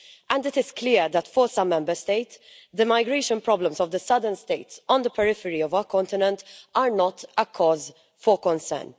And it is clear that for some Member States the migration problems of the southern states, on the periphery of our continent, are not a cause for concern.